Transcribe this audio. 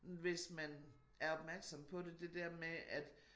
Hvis man er opmærksom på det det der med at